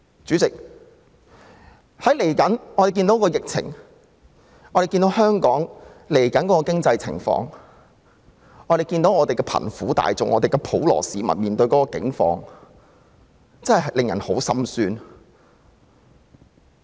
主席，疫情將會影響香港未來的經濟情況，眼見貧苦大眾和普羅市民現時的境況，實在令人十分心酸。